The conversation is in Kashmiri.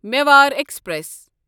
مِوار ایکسپریس